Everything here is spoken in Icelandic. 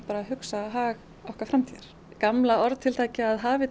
að hugsa um hag okkar framtíðar gamla orðatiltækið að hafið